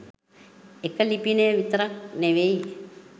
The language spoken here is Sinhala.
එක ලිපිනය විතරක් නෙවෙයි